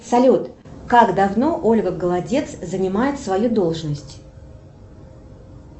салют как давно ольга голодец занимает свою должность